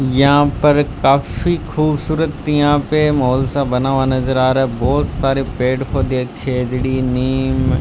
यहां पर काफी खूबसूरत यहां पे माहौल सा बना हुआ नजर आ रहा है बहोत सारे पेड़ पौधे है खेजड़ी नीम --